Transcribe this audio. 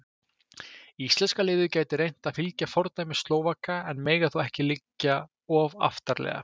Íslenska liðið gæti reynt að fylgja fordæmi Slóvaka en mega þó ekki liggja of aftarlega.